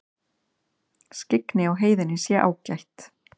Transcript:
Skyggni á heiðinni sé ágætt